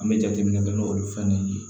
An bɛ jateminɛ kɛ n'olu fɛn ye